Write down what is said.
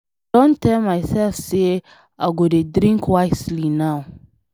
I don tell myself say I go dey drink wisely now.